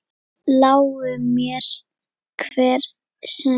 Lái mér, hver sem vill.